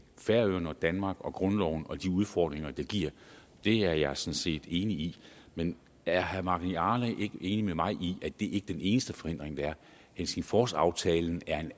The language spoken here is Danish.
færøerne danmark og grundloven og de udfordringer det giver det er jeg sådan set enig i men er herre magni arge ikke enig med mig i at det ikke er den eneste forhindring der er helsingforsaftalen er